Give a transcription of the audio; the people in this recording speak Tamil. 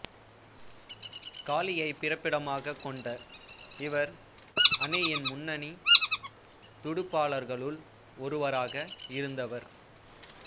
காலியைப் பிறப்பிடமாகக் கொண்ட இவர் அணியின் முன்னணி துடுப்பாளர்களுள் ஒருவராக இருந்தவர்